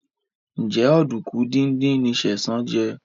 Njé Oduku dín dín ní Sesan jé?